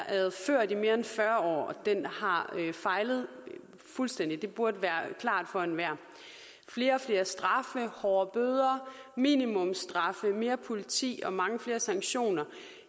ført i mere end fyrre år og den har fejlet fuldstændig det burde være klart for enhver flere og flere straffe hårdere bøder minimumsstraffe mere politi og mange flere sanktioner